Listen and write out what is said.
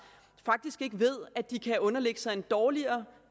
faktisk ikke ved at de kan underlægge sig en dårligere